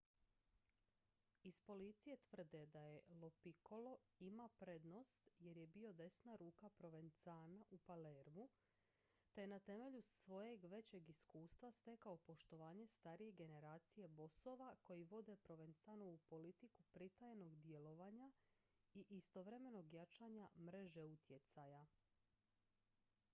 iz policije tvrde da lo piccolo ima prednost jer je bio desna ruka provenzana u palermu te je na temelju svojeg većeg iskustva stekao poštovanje starije generacije bosova koji vode provenzanovu politiku pritajenog djelovanja i istovremenog jačanja mreže utjecaja